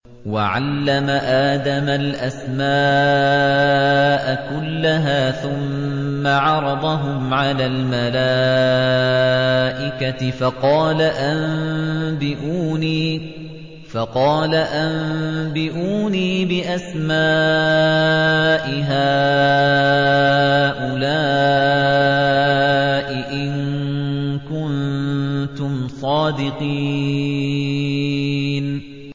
وَعَلَّمَ آدَمَ الْأَسْمَاءَ كُلَّهَا ثُمَّ عَرَضَهُمْ عَلَى الْمَلَائِكَةِ فَقَالَ أَنبِئُونِي بِأَسْمَاءِ هَٰؤُلَاءِ إِن كُنتُمْ صَادِقِينَ